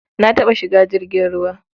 Na taɓa shiga jirgin ruwa.